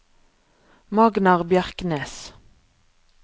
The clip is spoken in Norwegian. Magnar Bjerknes